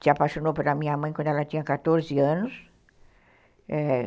Se apaixonou pela minha mãe quando ela tinha quatorze anos, é